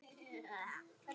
Frænka er mjög stolt.